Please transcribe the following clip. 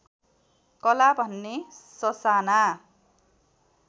कला भन्ने ससाना